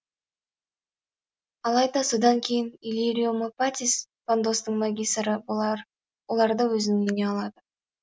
алайда содан кейін иллирио мопатис пандостын магисоры оларды өзінің үйіне алады